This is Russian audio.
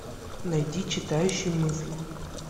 найди читающий мысли